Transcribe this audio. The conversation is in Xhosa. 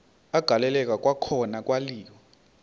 agaleleka kwakhona kwaliwa